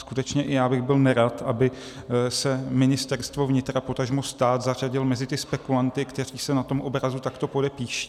Skutečně i já bych byl nerad, aby se Ministerstvo vnitra, potažmo stát zařadil mezi ty spekulanty, kteří se na tom obrazu takto podepíší.